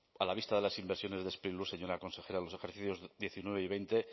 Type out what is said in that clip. a la vista de las inversiones de sprilur señora consejera los ejercicios dos mil diecinueve y dos mil veinte